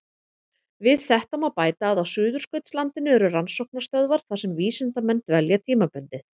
Við þetta má bæta að á Suðurskautslandinu eru rannsóknarstöðvar þar sem vísindamenn dvelja tímabundið.